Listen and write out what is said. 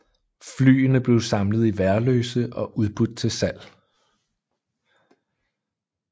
Flyene blev samlet i Værløse og udbudt til salg